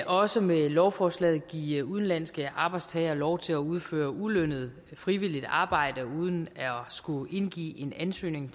også med lovforslaget give udenlandske arbejdstagere lov til at udføre ulønnet frivilligt arbejde uden at skulle indgive en ansøgning